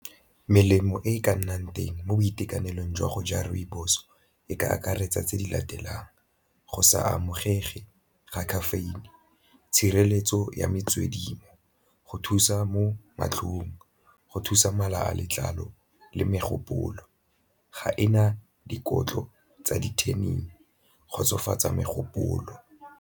Melemo e e ka nnang teng mo boitekanelong jwa go ja rooibos e ka akaretsa tse di latelang, go sa amogelege ga caffeine, tshireletso ya metswedi, go thusa mo matlhong, go thusa mala a letlalo le megopolo, ga e na dikotlo tsa di kgotsofatsa megopolo.